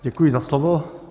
Děkuji za slovo.